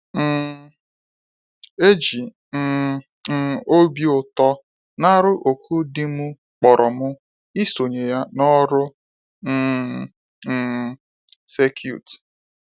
um Eji um m obi ụtọ narụ òkù di mụ kpọrọ mụ isonye ya n'ọrụ um um circuit.